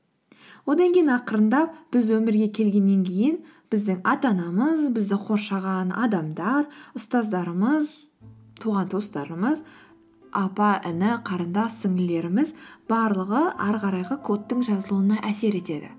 одан кейін ақырындап біз өмірге келгеннен кейін біздің ата анамыз бізді қоршаған адамдар ұстаздарымыз туған туыстарымыз апа іні қарындас сіңлілеріміз барлығы ары қарайғы кодтың жазылуына әсер етеді